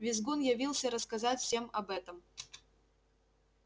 визгун явился рассказать всем об этом